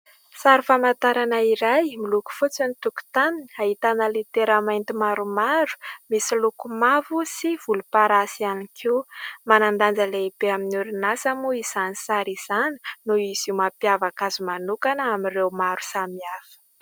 Sary famantarana iray : miloko fotsy ny tokotaniny, ahitana litera mainty maromaro misy loko mavo sy volomparasy ihany koa ; manan-danja lehibe amin'ny orinasa moa izany sary izany noho izy io mampiavaka azy manokana amin'ireo maro samy hafa.